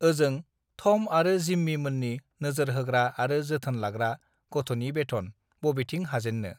ओजों थम आरो जिम्मि मोननि नोजोर होग्रा आरो जोथोन लाग्रा गथनि बेथन बबेथिं हाजेन्नो